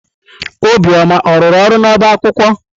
Obioma ọ rụrụ ọrụ n'ọba akwụkwọ?